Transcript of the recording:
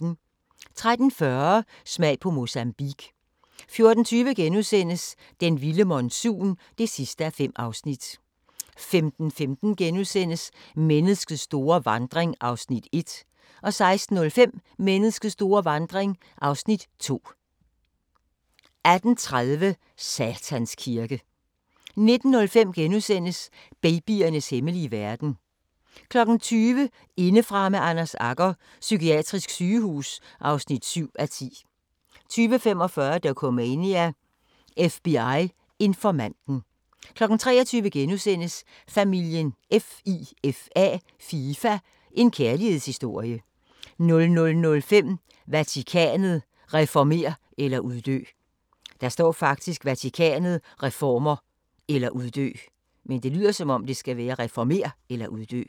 13:40: Smag på Mozambique 14:20: Den vilde monsun (5:5)* 15:15: Menneskets store vandring (1:5)* 16:05: Menneskets store vandring (2:5) 18:30: Satans Kirke 19:05: Babyernes hemmelige verden * 20:00: Indefra med Anders Agger – Psykiatrisk sygehus (7:10) 20:45: Dokumania: FBI-informanten 23:00: Familien FIFA – en kærlighedshistorie * 00:05: Vatikanet – reformer eller uddø!